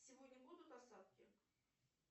сегодня будут осадки